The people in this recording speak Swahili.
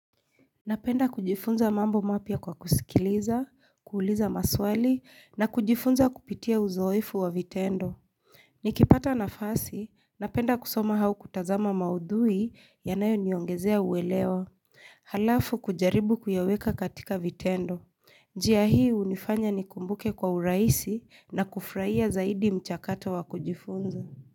Napenda kujifunza mambo mapya kwa kusikiliza, kuuliza maswali, na kujifunza kupitia uzoefu wa vitendo. Nikipata nafasi, napenda kusoma hau kutazama maudhui yanayo niongezea uwelewa. Halafu kujaribu kuyaweka katika vitendo. Njiya hii unifanya ni kumbuke kwa uraisi na kufraia zaidi mchakato wa kujifunza.